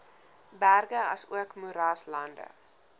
berge asook moeraslande